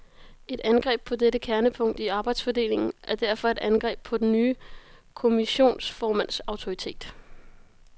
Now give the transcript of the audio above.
Et angreb på dette kernepunkt i arbejdsfordelingen er derfor et angreb på den nye kommissionsformands autoritet.